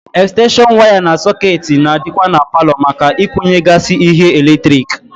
Ekstenshon waya na sọkeetị na-adịkwa na paalọ maka ịkwunyegasị ihe eletrik.